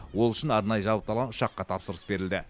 ол үшін арнайы жабдықталған ұшаққа тапсырыс берілді